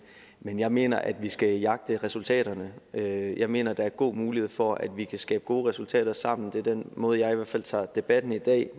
men jeg mener at vi skal jagte resultaterne og jeg mener at der er god mulighed for at vi kan skabe gode resultater sammen det er den måde jeg i hvert fald tager debatten i dag